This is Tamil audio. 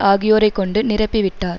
ஆகியோரைக் கொண்டு நிரப்பி விட்டார்